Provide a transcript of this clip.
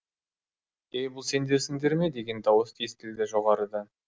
ей бұл сендерсіңдер ме деген дауыс естілді жоғарыдан